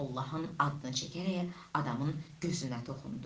Allahın adını çəkərək adamın gözünə toxundu.